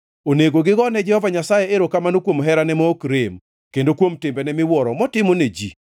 Onego gigo ne Jehova Nyasaye erokamano kuom herane ma ok rem kendo kuom timbene miwuoro motimo ne ji.